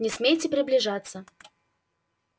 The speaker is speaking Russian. не смейте приближаться